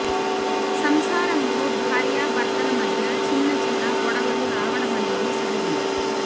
సంసారంలో భార్య భర్తల మధ్య చిన్న చిన్న గొడవలు రావడమనేది సహజం